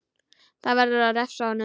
Það verður að refsa honum!